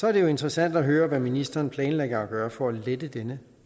er det jo interessant at høre hvad ministeren planlægger at gøre for at lette den